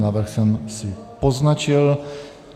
Návrh jsem si poznačil.